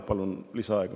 Palun lisaaega.